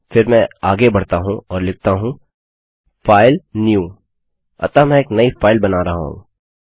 फिर मैं आगे बढ़ता हूँ और लिखता हूँ filenewअतः मैं एक नई फाइल बना रहा हूँ